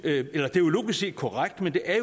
set korrekt men det er